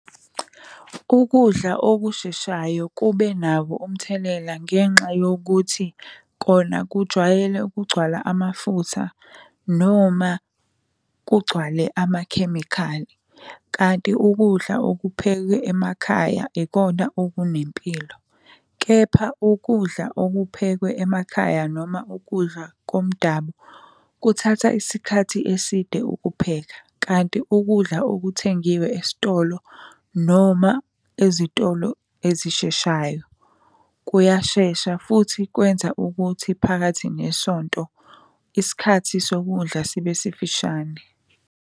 Ukudla okusheshayo kube nabo umthelela ngenxa yokuthi kona kujwayele ukugcwala amafutha, noma kugcwale amakhemikhali. Kanti ukudla okuphekwe emakhaya ikona okunempilo. Kepha ukudla okuphekwe emakhaya noma ukudla komdabu kuthatha isikhathi eside ukupheka. Kanti ukudla okuthengiwe esitolo noma ezitolo ezisheshayo kuyashesha futhi kwenza ukuthi phakathi nesonto isikhathi sokudla sibe sifishane.